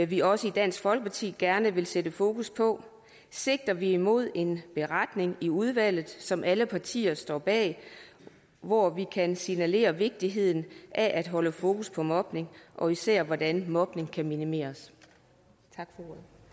vi også i dansk folkeparti gerne vil sætte fokus på sigter vi imod en beretning i udvalget som alle partier står bag hvor vi kan signalere vigtigheden af at holde fokus på mobning og især hvordan mobning kan minimeres tak